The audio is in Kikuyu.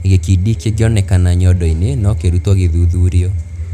Gĩkindi kĩngĩonekana nyondo-inĩ, no kĩrutwo kĩthuthurio.